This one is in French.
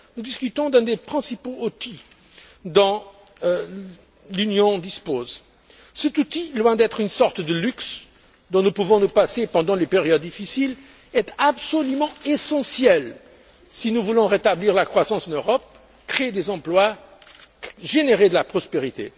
Nous discutons d'un des principaux outils dont l'Union dispose. Cet outil, loin d'être une sorte de luxe dont nous pouvons nous passer pendant les périodes difficiles, est absolument essentiel si nous voulons rétablir la croissance en Europe, créer des emplois et générer de la prospérité.